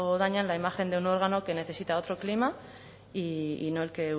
dañan la imagen de un órgano que necesita otro clima y no el que